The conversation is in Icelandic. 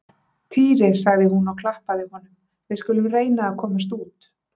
Týri sagði hún og klappaði honum, við skulum reyna að komast út